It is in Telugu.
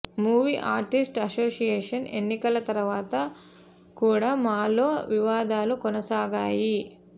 మూవీ ఆర్టిస్ట్ అసోషియేషన్ ఎన్నికల తరువాత కూడా మాలో వివాదాలు కొనసాగాయి